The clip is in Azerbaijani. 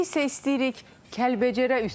istəyirik Kəlbəcərə üz tutaq.